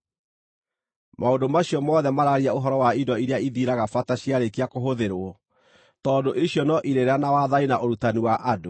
Maũndũ macio mothe maraaria ũhoro wa indo iria ithiraga bata ciarĩkia kũhũthĩrwo, tondũ icio no irĩra na wathani na ũrutani wa andũ.